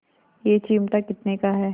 यह चिमटा कितने का है